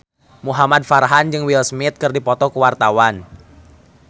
Muhamad Farhan jeung Will Smith keur dipoto ku wartawan